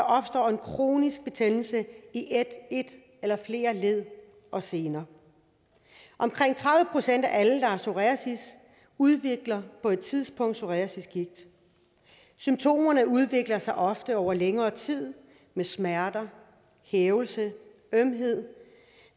opstår en kronisk betændelse i et eller flere led og sener omkring tredive procent af alle der har psoriasis udvikler på et tidspunkt psoriasisgigt symptomerne udvikler sig ofte over længere tid med smerter hævelse ømhed og